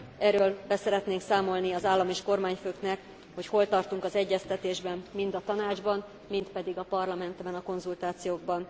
Erről be szeretnénk számolni az állam és kormányfőknek, hogy hol tartunk az egyeztetésben mind a Tanácsban, mind pedig a Parlamentben a konzultációkban.